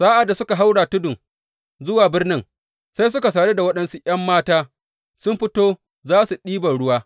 Sa’ad da suke haura tudun zuwa birnin, sai suka sadu da waɗansu ’yan mata sun fito za su ɗiban ruwa.